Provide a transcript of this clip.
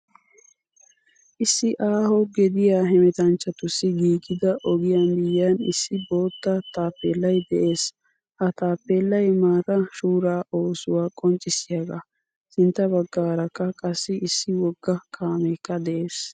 Issi aaho gediya hemettanchchatussi giigida ogiyaa miyiyan issi boottaa taappelay de'ees. Ha taappelay maataa shura oosuwaa qonccisiyaga. Sintta baggarakka qassi issi wogga kaamekka de'ees.